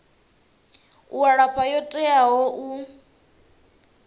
u alafha yo teaho u